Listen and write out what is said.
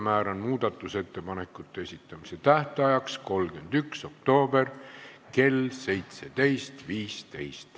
Määran muudatusettepanekute esitamise tähtajaks 31. oktoobri kell 17.15.